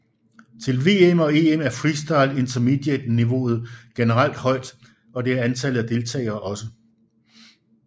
Til VM og EM er freestyle Intermediate niveauet generelt højt og det er antallet af deltager også